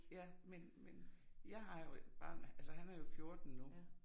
Ja, men men jeg har jo et barn altså han er jo 14 nu